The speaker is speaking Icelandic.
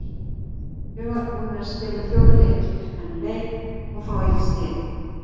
Við vorum búnir að spila fjóra leiki fyrir þennan leik og fá eitt stig,